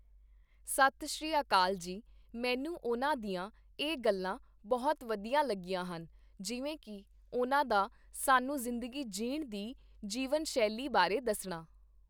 ਸਤਿ ਸ਼੍ਰੀ ਆਕਾਲ ਜੀ, ਮੈਨੂੰ ਉਨ੍ਹਾਂ ਦੀਆਂ ਇਹ ਗੱਲਾਂ ਬਹੁਤ ਵਧੀਆ ਲੱਗੀਆਂ ਹਨ, ਜਿਵੇਂ ਕਿ ਉਹਨਾਂ ਦਾ ਸਾਨੂੰ ਜ਼ਿੰਦਗੀ ਜੀਣ ਦੀ ਜੀਵਨ ਸ਼ੈਲੀ ਬਾਰੇ ਦੱਸਣਾI